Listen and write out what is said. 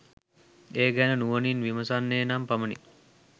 ඒ ගැන නුවණින් විමසන්නේ නම් පමණි.